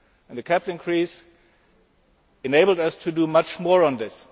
The capital increase has enabled us to do much more on this.